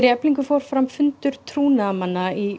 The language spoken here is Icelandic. Eflingar fór fram fundur trúnaðarmanna í